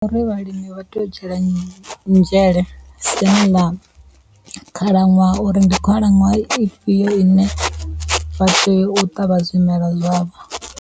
vhalimi vha tea u dzhiela nzhele siani ḽa khalaṅwaha uri ndi khalaṅwaha ifhio ine vha tea u ṱavha zwimela zwavho.